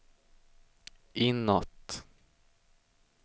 inåt